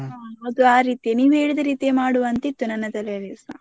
ಅದೇ ಆ ರೀತಿ ನೀವ್ ಹೇಳಿದ ರೀತಿಯೇ ಮಾಡುವ ಅಂತ ಇತ್ತು ನನ್ನ ತಲೆಯಲ್ಲಿಸಾ.